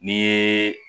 N'i ye